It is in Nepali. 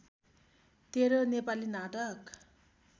१३ नेपाली नाटक